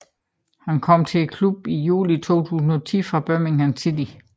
Han kom til klubben i juli 2010 fra Birmingham City